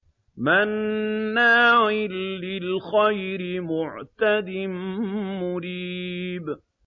مَّنَّاعٍ لِّلْخَيْرِ مُعْتَدٍ مُّرِيبٍ